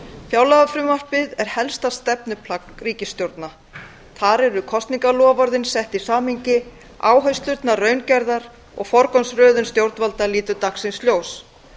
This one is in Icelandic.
fjárlagafrumvarpið er helsta stefnuplagg ríkisstjórna þar eru kosningaloforðin sett í samhengi áherslurnar raungerðar og forgangsröðun stjórnvalda lítur dagsins ljós